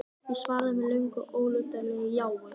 Ég svaraði með löngu og ólundarlegu jái.